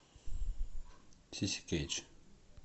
сиси кэтч